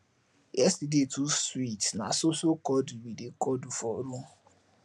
yesterday too sweet na so so cuddle we dey cuddle for room